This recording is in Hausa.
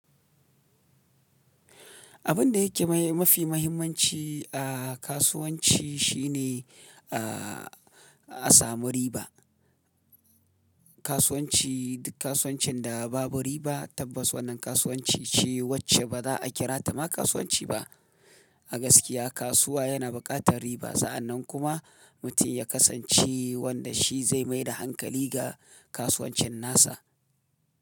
Abin da yake mafi mahimmanci a kasuwanci shine, a samu riba. Kasuwanci, duk kasuwancin da babu riba tabbas wannan kasuwanci ce wacce ba za a kira ta ma kasuwanci ba. A gaskiya kasuwa yana buƙatar riba. Sa'annan kuma mutum ya kasance wanda shi zai mai da hankali ga kasuwancin nasa.